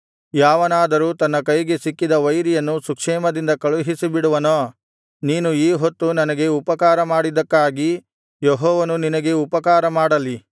ಯಾವನಾದರೂ ತನ್ನ ಕೈಗೆ ಸಿಕ್ಕಿದ ವೈರಿಯನ್ನು ಸುಕ್ಷೇಮದಿಂದ ಕಳುಹಿಸಿಬಿಡುವನೋ ನೀನು ಈ ಹೊತ್ತು ನನಗೆ ಉಪಕಾರಮಾಡಿದ್ದಕ್ಕಾಗಿ ಯೆಹೋವನು ನಿನಗೆ ಉಪಕಾರ ಮಾಡಲಿ